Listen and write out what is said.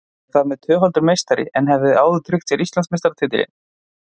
Liðið er þar með tvöfaldur meistari en það hafði áður tryggt sér Íslandsmeistaratitilinn.